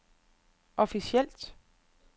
officielt